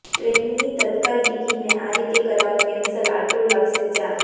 ટ્રેનની તત્કાલ ટિકિટને આ રીતે કરાવો કેન્સલ આટલો લાગશે ચાર્જ